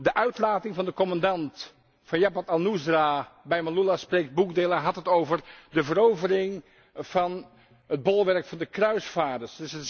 De uitlating van de commandant van Jabhat al Nusra bij Maaloula spreekt boekdelen. Hij had het over de 'verovering van het bolwerk van de Kruisvaarders'.